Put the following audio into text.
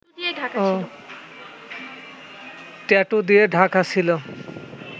tattoo দিয়ে ঢাকা ছিল